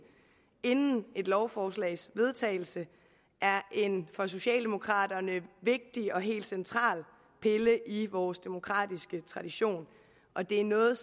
inden et lovforslags vedtagelse er en for socialdemokraterne vigtig og helt central pille i vores demokratiske tradition og det er noget